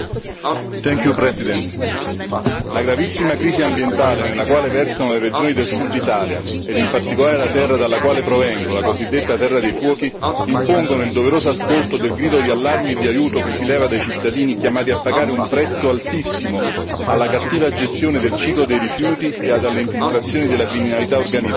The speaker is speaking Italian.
Signor Presidente, onorevoli colleghi, la gravissima crisi ambientale nella quale versano le regioni del sud Italia, ed in particolare la terra dalla quale provengo, la cosiddetta terra dei fuochi, impongono il doveroso ascolto del grido di allarme e di aiuto che si leva dai cittadini chiamati a pagare un prezzo altissimo alla cattiva gestione del ciclo dei rifiuti e alle infiltrazioni della criminalità organizzata.